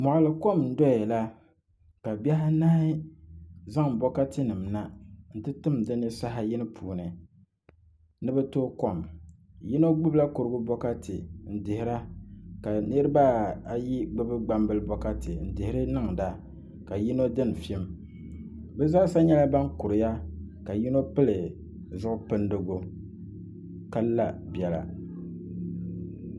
Moɣali kom n doya la ka bihi anahi zaŋ bokati nim na n ti tim dinni saha yini puuni ni bi tooi kom yino gbubila kurigu bokati n dihira ka niraba ayi gbubi gbambili bokati n dihiri niŋda ka yino dini fim bi zaasa nyɛla ban kuriya ka yino pili zuɣu pindigu ka la biɛla